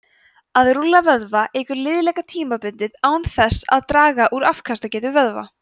að rúlla vöðva eykur liðleika tímabundið án þess að draga úr afkastagetu vöðva